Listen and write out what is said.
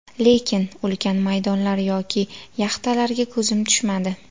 Lekin ulkan maydonlar yoki yaxtalarga ko‘zim tushmadi.